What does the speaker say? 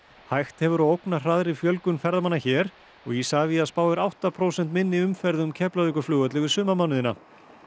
hægt hefur á fjölgun ferðamanna hér Isavia spáir átta prósent minni umferð um Keflavíkurflugvöll yfir sumarmánuðina